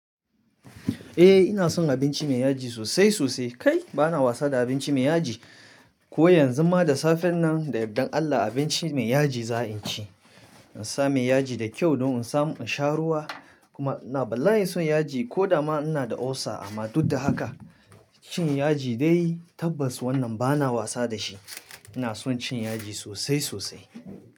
Eh ina son abinci mai yaji sosai sosai. Kai! Bana wasa da abinci mai yaji. Ko yanzu ma da safen nan da yaddan Allah abinci mai yaji za in ci. In sa mai yaji da kyau don in samu in sha ruwa. Kuma ina balla'in son yaji ko da ma ina da ulcer amma duk da haka cin yaji dai tabbas wannan bana wasa da shi. Ina son cin yaji sosai sosai.